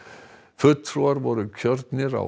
fulltrúar voru kjörnir á